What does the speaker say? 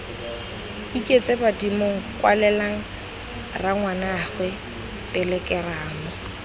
iketse badimong kwalela rangwaneago telekeramo